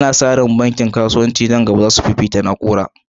Ana sa ran bankunan kasuwanci na nan gaba za su ba da fifikon tashoshi na banki ta na'ura.